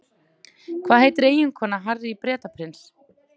Hvað heitir eiginkona Harry Bretaprins?